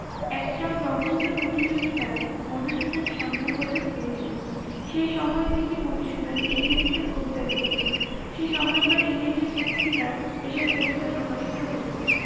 একটা প্রবন্ধ প্রতিযোগীতায় মধুসুদন স্বর্ণ পদক পেয়েছিলেন। সেই সময় থেকে মধুসুদন ইংরেজিতে কবিতা লিখতেন। সেই সময়কার ইংরেজি পত্রিকায় এসব কবিতা প্রকাশিত হতো।